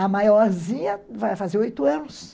A maiorzinha vai fazer oito anos.